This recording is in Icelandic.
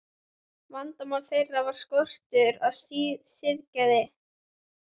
Vandamál þeirra var skortur á siðgæði.